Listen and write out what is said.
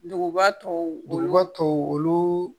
Duguba tɔw duguba tɔw olu